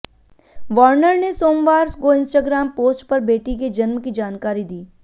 Warner ने सोमवार को इंस्टाग्राम पोस्ट पर बेटी के जन्म की जानकारी दी